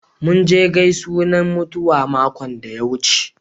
Mun je gaisunan mutuwa makon da ya wuce.